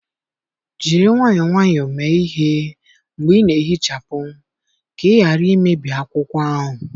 Jiri nwayọọ nwayọọ mee ihe mgbe ị na-ehichapụ ka ị ghara imebi akwụkwọ ahụ.